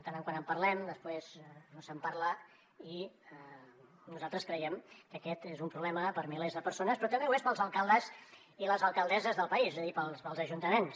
de tant en tant en parlem després no se’n parla i nosaltres creiem que aquest és un problema per a milers de persones però també ho és per als alcaldes i les alcaldesses del país és a dir per als ajuntaments